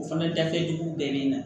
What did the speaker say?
O fana dakɛjugu bɛɛ bɛ na